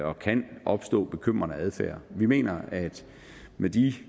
og kan opstå bekymrende adfærd vi mener at med de